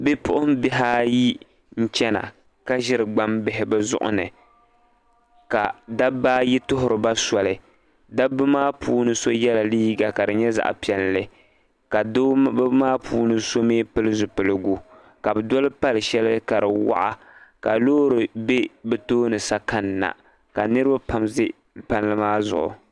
bipuɣimbihi n-chana ka ʒiri gbambihi bɛ zuɣu ni ka dabba ayi tuhiri ba soli dabba maa puuni so yɛla liiga ka di nyɛ zaɣ' piɛlli ka dabba maa puuni so mi pili zipiligu ka bɛ doli pal' shɛli ka di waɣa ka loori be bɛ tooni sa kanna ka niriba pam za palli maa zuɣu